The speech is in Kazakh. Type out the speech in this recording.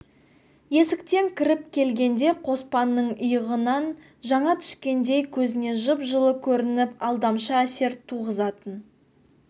есіктен кіріп келгенде қоспанның иығынан жаңа түскендей көзіне жып-жылы көрініп алдамшы әсер туғызатын